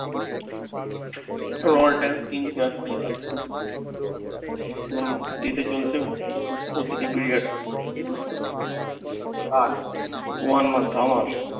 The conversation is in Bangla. all time screen share করিয়ে কাটে। ও ঈদে চলছে ও আর one month